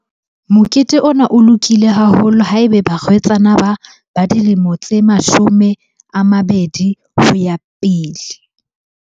Mokete ona o lokile haholo ha ebe barwetsana ba ba dilemo tse mashome a mabedi ho ya pele.